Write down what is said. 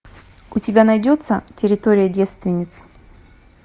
у тебя найдется территория девственниц